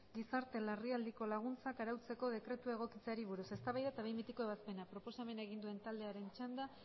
gizarte larrialdiko laguntzak arautzeko dekretua egokitzeari buruz eztabaida eta behin betiko ebazpena proposamena egin duen taldearen txanda